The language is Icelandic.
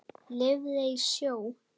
Lifði í sjó.